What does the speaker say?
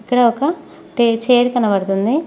ఇక్కడ ఒక టే చైర్ కనబడుతుంది.